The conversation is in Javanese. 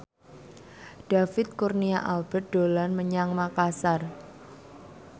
David Kurnia Albert dolan menyang Makasar